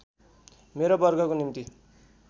मेरो वर्गको निम्ति